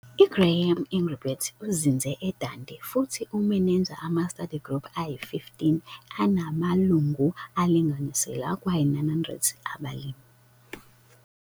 I-Graeme Engelbrecht uzinze e-Dundee futhi umeneja ama-study group ayi-15 enamalungu alinganiselwa kwayi-900 abalimi.